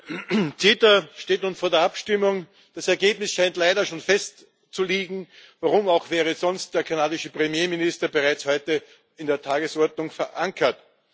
Frau Präsidentin! CETA steht nun vor der Abstimmung. Das Ergebnis scheint leider schon festzustehen. Warum auch wäre sonst der kanadische Premierminister bereits heute in der Tagesordnung verankert?